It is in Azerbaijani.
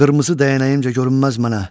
Qırmızı dəyənəyimcə görünməz mənə.